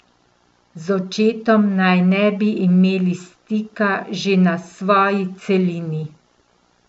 Z očetom naj ne bi imeli stika že na svoji celini.